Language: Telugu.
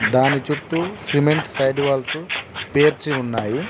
దాని చుట్టూ సిమెంట్ సైడ్ వాల్స్ పేర్చి ఉన్నాయి.